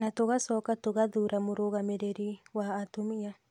na tũgacoka tũgathuura mũrũgamĩrĩri wa atumia